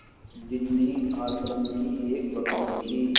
बिन्नी आश्रम की एक बकरी थी